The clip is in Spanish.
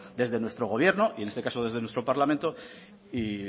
desde nuestro gobierno y en este caso desde nuestro parlamento y